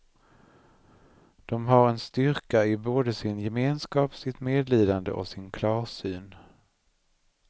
De har en styrka i både sin gemenskap, sitt medlidande och sin klarsyn.